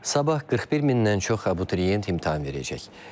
Sabah 41 mindən çox abituriyent imtahan verəcək.